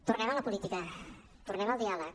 tornem a la política tornem al diàleg